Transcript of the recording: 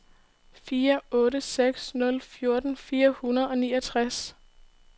fire otte seks nul fjorten fire hundrede og niogtres